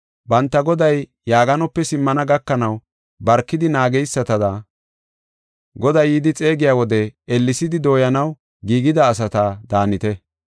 Banta goday yaaganope simmana gakanaw barkidi naageysatada, goday yidi xeegiya wode ellesidi dooyanaw giigida asata daanite.